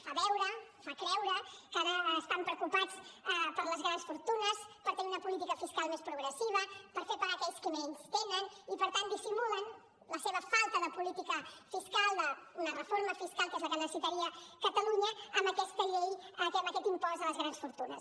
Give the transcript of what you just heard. fa veure fa creure que ara estan preocupats per les grans fortunes per tenir una política fiscal més progressiva per fer pagar aquells que més tenen i per tant dissimulen la seva falta de política fiscal d’una reforma fiscal que és la que necessitaria catalunya amb aquesta llei amb aquest impost a les grans fortunes